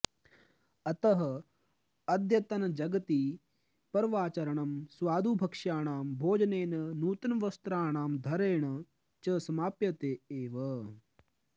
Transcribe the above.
अतः अद्यतनजगति पर्वाचरणं स्वादुभक्ष्याणां भोजनेन नूतनवस्त्राणां धरणेन च समाप्यते एव